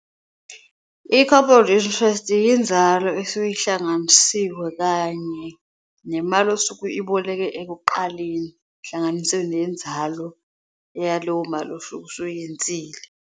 I-compound interest yinzalo esuke ihlanganisiwe kanye nemali osuke uyiboleke ekuqaleni, kuhlanganise nenzalo yalowo mali osuke usuyenzile.